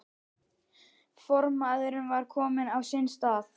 Formaðurinn var kominn á sinn stað.